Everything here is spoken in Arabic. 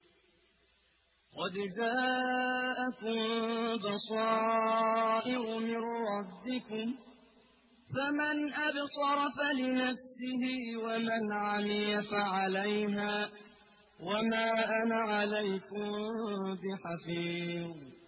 قَدْ جَاءَكُم بَصَائِرُ مِن رَّبِّكُمْ ۖ فَمَنْ أَبْصَرَ فَلِنَفْسِهِ ۖ وَمَنْ عَمِيَ فَعَلَيْهَا ۚ وَمَا أَنَا عَلَيْكُم بِحَفِيظٍ